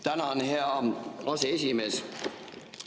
Tänan, hea aseesimees!